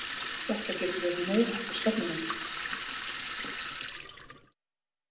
Þetta getur orðið meiriháttar stefnumót!